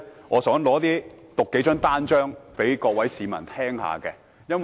我想讀出數張傳單的標題，讓各位市民聽一聽。